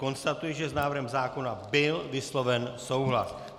Konstatuji, že s návrhem zákona byl vysloven souhlas.